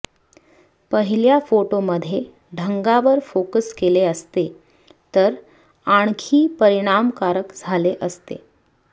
पहिल्या फोटोमध्ये ढगांवर फोकस केले असते तर आणखी परिणामकारक झाले असते